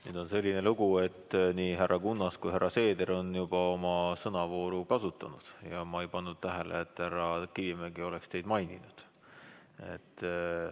Nüüd on selline lugu, et nii härra Kunnas kui ka härra Seeder on juba oma sõnavooru kasutanud ja ma ei pannud tähele, et härra Kivimägi oleks teid maininud.